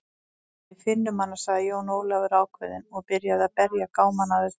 Við finnum hana, sagði Jón Ólafur ákveðinn og byrjaði að berja gámana að utan.